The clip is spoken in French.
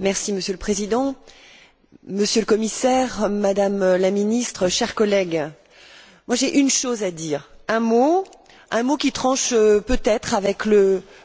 Monsieur le Président, Monsieur le Commissaire, Madame la Ministre, chers collègues, j'ai une chose à dire, un mot qui tranche peut être avec